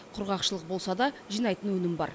құрғақшылық болса да жинайтын өнім бар